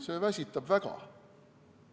See väsitab väga.